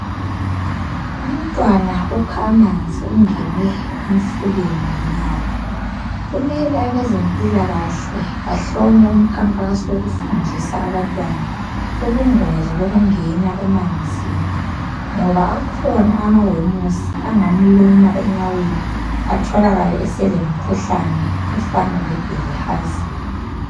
Umntwana ukha amanzi ungene emfuleni ngenyawo. Kumele abezempilakahle bahlome umkhankaso okufundisa abantwana ubungozi bokungena emanzini, ngoba akhona amawemusi angamluma enyaweni atholakale eseloemkhuhlane efana lebilhazia